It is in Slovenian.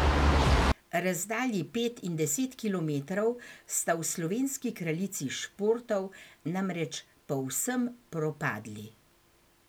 Razdalji pet in deset kilometrov sta v slovenski kraljici športov namreč povsem propadli.